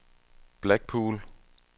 Blackpool